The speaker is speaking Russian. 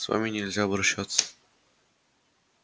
с вами нельзя обращаться